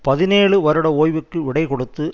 பதினேழு வருட ஓய்வுக்கு விடை கொடுத்து